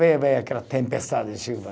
Vê, vê, aquela tempestade de chuva